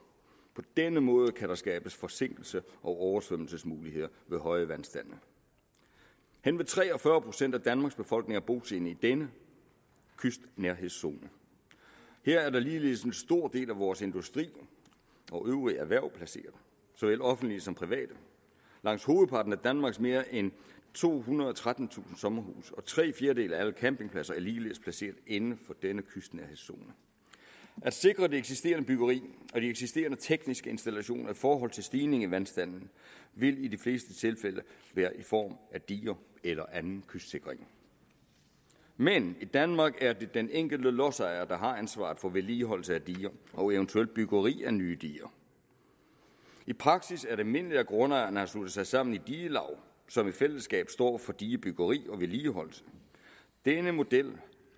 på den måde kan der skabes forsinkelses og oversvømmelsesmuligheder ved høje vandstande henved tre og fyrre procent af danmarks befolkning er bosiddende i denne kystnærhedszone her er der ligeledes en stor del af vores industri og øvrige erhverv placeret såvel offentligt som privat langt hovedparten af danmarks mere end tohundrede og trettentusind sommerhuse og tre fjerdedele af alle campingpladser er ligeledes placeret inden for denne kystnærhedszone at sikre det eksisterende byggeri og de eksisterende tekniske installationer i forhold til stigninger i vandstanden vil i de fleste tilfælde være i form af diger eller anden kystsikring men i danmark er det den enkelte lodsejer der har ansvaret for vedligeholdelse af diger og eventuelt byggeri af nye diger i praksis er det almindeligt at grundejerne har sluttet sig sammen i digelaug som i fællesskab står for digebyggeri og vedligeholdelse denne model